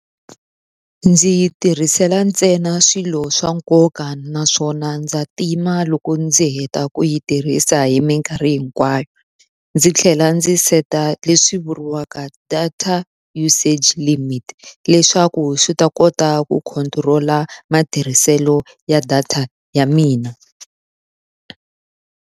Ndzi yi tirhisela ntsena swilo swa nkoka naswona ndza tima loko ndzi heta ku yi tirhisa hi minkarhi hinkwayo. Ndzi tlhela ndzi set-a leswi vuriwaka data usage limit, leswaku swi ta kota ku control-a matirhiselo ya data ya mina.